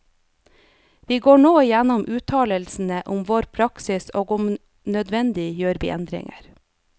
Vi går nå igjennom uttalelsene om vår praksis, og om nødvendig gjør vi endringer.